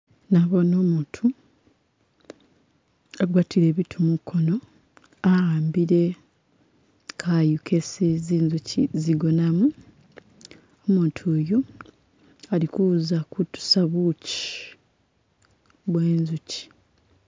Nabone umutu agwatile bitu mukono ahambile kayu kesi zinzuchi zigonamu, umutu yu alikuza kutusa buchi bwe zunchi